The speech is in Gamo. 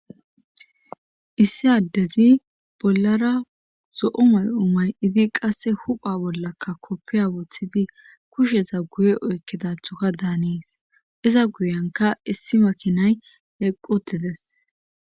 Issi addezi bollara zo7o may7o mayidi qasse hupha bollakka koppiya woththidi kusheza guye oykkedathoka daanis iza guyanka issi makinay eqqutides.